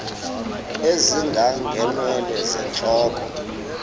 ezinga ngeenwele zentloko